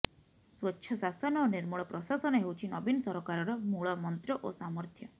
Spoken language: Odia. ସ୍ୱଚ୍ଛ ଶାସନ ଓ ନିର୍ମଳ ପ୍ରଶାସନ ହେଉଛି ନବୀନ ସରକାରର ମୂଳ ମନ୍ତ୍ର ଓ ସାମର୍ଥ୍ୟ